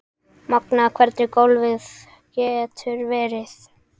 Magnað hvernig golfið getur verið.